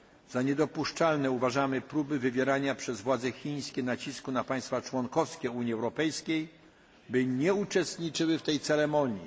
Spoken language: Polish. Za niedopuszczalne uważamy próby wywierania nacisków przez władze Chin na państwa członkowskie Unii Europejskiej, aby nie uczestniczyły w tej ceremonii.